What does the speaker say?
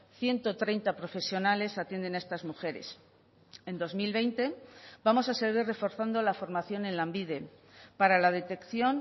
ciento treinta profesionales atienden a estas mujeres en dos mil veinte vamos a seguir reforzando la formación en lanbide para la detección